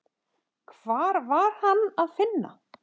Hvar var Hann að finna?